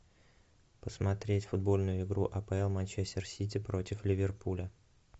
посмотреть футбольную игру апл манчестер сити против ливерпуля